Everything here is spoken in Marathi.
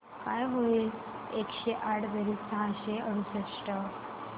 काय होईल एकशे आठ बेरीज सहाशे अडुसष्ट